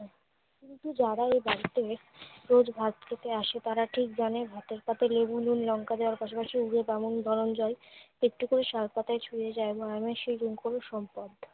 যারাই বাস্তবে রোজ ভাত খেতে আসে, তারা ঠিক জানে ভাতের পাতে লেবু, নুন, লঙ্কা দেয়ার পাশাপাশি গরম জল একটু করে শাল পাতায় ছুঁয়ে যায় মানুষের সম্পদ।